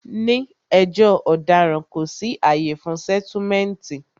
Ní ẹjọ́ ọ̀daràn, kò sí àyè fún sẹ́túmẹ̀ǹtì